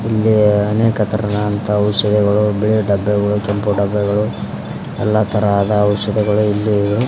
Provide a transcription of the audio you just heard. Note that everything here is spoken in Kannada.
ಇಲ್ಲಿ ಅನೇಕ ತರನ ಅಂತ ಔಷಧಿಗಳು ಬಿಳಿ ಡಬ್ಬೆಗಳು ಕೆಂಪು ಡಬ್ಬೆಗಳು ಎಲ್ಲಾ ತರಹದ ಔಷಧಿಗಳು ಇಲ್ಲಿ ಇವೆ.